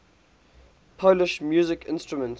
polish musical instruments